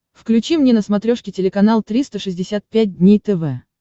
включи мне на смотрешке телеканал триста шестьдесят пять дней тв